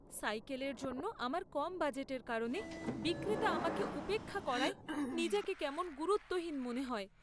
সাইকেলের জন্য আমার কম বাজেটের কারণে বিক্রেতা আমাকে উপেক্ষা করায় নিজেকে কেমন গুরুত্বহীন মনে হয়।